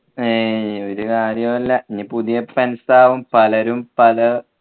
ആയ്യ് ഒരു കാര്യമില്ല ഞ്ഞി പുതിയ friends ആവും പലരും പല